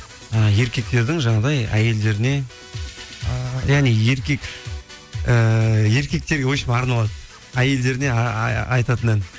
і еркектердің жаңағыдай әйелдеріне і яғни еркек ііі еркектерге арналады әйелдеріне айтатын ән